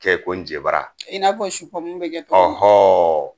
Kɛ ko n nje bara i n'a fɔ supɔmio be kɛ togo min na